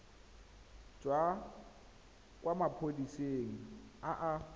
tswa kwa maphodiseng a a